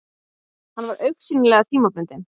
Hann var augsýnilega tímabundinn.